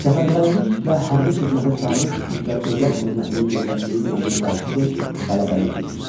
Səfərbərlik və Hərbi xidmətə çağırış üzrə dövlət xidmətinin yerləşdiyi binanın qarşısı qələbəlik idi.